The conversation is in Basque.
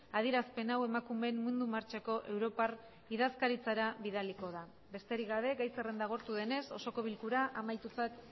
adierazpen hau emakumeen mundu martxako europar idazkaritzara bidaliko da besterik gabe gai zerrenda agortu denez osoko bilkura amaitutzat